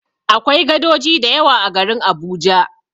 Akwai gadoji da yawa a garin Abuja.